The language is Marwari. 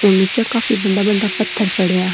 निचे काफी बड़ा बड़ा पत्थर पड़ा है।